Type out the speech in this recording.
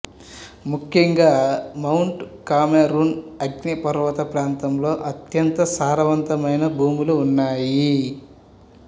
ముఖ్యంగా mount Cameroon అగ్నిపర్వత ప్రాంతంలో అత్యంత సారవంతమైన భూములు ఉన్నాయి